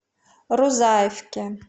рузаевке